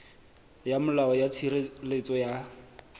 ya molao ya tshireletso ya